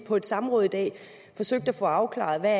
på et samråd i dag forsøgt at få afklaret hvad